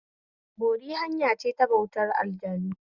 Bori hanyace ta bautar aljanu